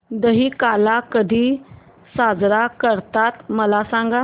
दहिकाला कधी साजरा करतात मला सांग